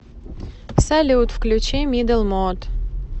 салют включи мидл мод